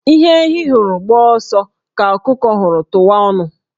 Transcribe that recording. Ihe ehi hụrụ gbaa ọsọ, ka ọkụkọ hụrụ tụwa ọnụ